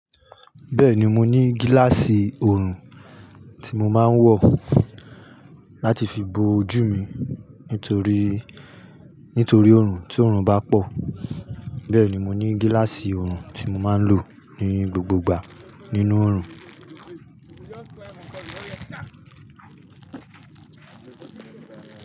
Bẹ́ẹ̀ni mo ní gíláàsì oorun tí mo máa ń wọ̀ láti fi bo ojú mi nítorí, nítorí oorun tí oorun bá pọ̀. Bẹ́ẹ̀ ni mo ní gíláàsì oorun tí mo máa ń lò ní gbogbo ìgbà nínú oorun.